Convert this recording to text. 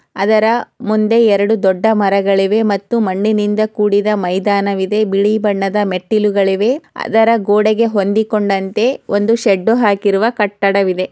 ಅದರ ಮುಂದೆ ಎರೆಡು ದೂಡ್ಡ ಮರಗಳಿವೆ ಮತ್ತು ಮಣ್ಣನಿಂದ್ ಕೂಡಿದ ಮೈದಾನ್ ಇದೆ ಬಿಳಿ ಬಣ್ಣದ ಮೆಟ್ಟಿಲೂಗಳಿವೆ ಅದರ ಗೂಡೆಗೆ ಹುಂದಿಕೊಂಡಂತೆ ಒಂದು ಶೇಡು ಹಾಕಿರುವ ಕಟ್ಟಡ ಇದೆ.